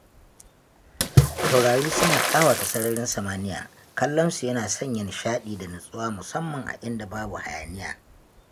Taurari suna ƙawata sararin samaniya, kallonsu yana sanya nishaɗi da nutsuwa musamman a inda babu hayaniya.